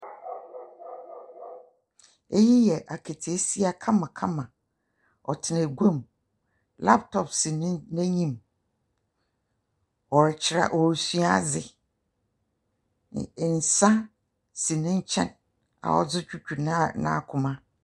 Eyi yɛ aketeesia kamakama. Ɔtena aguam. Laptop si n'enyim. Ɔrekyerɛ ɔresua adze. Nsa si ne nkyɛn a ɔdze dwodwo n'akoma.